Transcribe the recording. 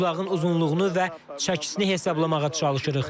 Buzlağın uzunluğunu və çəkisini hesablamağa çalışırıq.